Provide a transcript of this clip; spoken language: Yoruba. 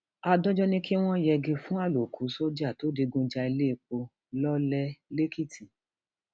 adájọ ní kí wọn yẹgi fún àlòkù sójà tó digun ja ilẹèpo lọlẹ lẹkìtì